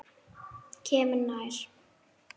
Kemur nær.